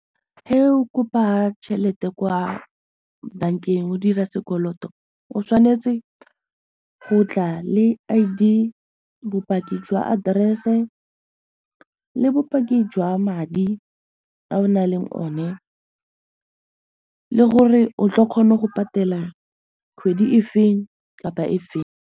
Ge o kopa tšhelete kwa bankeng o dira sekoloto o tshwanetse go tla le I_D, bopaki jwa address-e le bopaki jwa madi a o nang le one le gore o tlo kgona go patela kgwedi e feng kapa e feng.